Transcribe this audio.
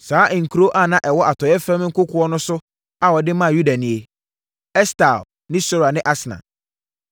Saa nkuro a na ɛwɔ atɔeɛ fam nkokoɔ no so a wɔde maa Yuda nie: Estaol ne Sora ne Asna.